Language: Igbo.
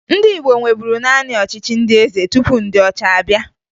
Ndị Igbo nweburu naanị ọchịchị ndị eze tupu ndị ọcha abịa